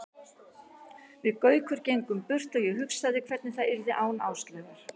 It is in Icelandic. Við Gaukur gengum burt og ég hugsaði hvernig það yrði án Áslaugar.